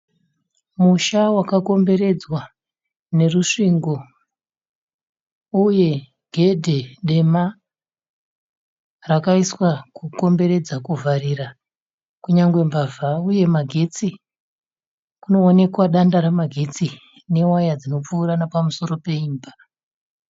Musha wakakomberedzwa nerusvingo uye gedhe dema rakaiswa kukomberedza kuvharira kunyangwe mbavha uye magetsi kunoonekwa danda remagetsi newaya dzinopfuura nepamusoro peimba.